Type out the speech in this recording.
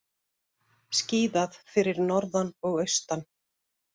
Skíðað fyrir norðan og austan